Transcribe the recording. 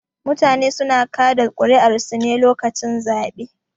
Mutane suna kaɗa ƙuri'arsu ne lokacin zaɓe